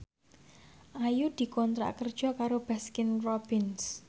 Ayu dikontrak kerja karo Baskin Robbins